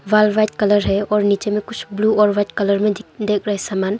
दिवाल white colour है और नीचे में कुछ ब्ल्यू और वाइट कलर में दिख रहे सामान।